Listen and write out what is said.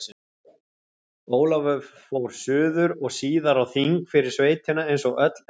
Ólafur fór suður og síðar á þing fyrir sveitina eins og öll efni stóðu til.